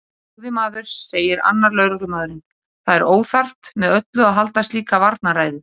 Góði maður, segir annar lögreglumaðurinn, það er óþarft með öllu að halda slíka varnarræðu.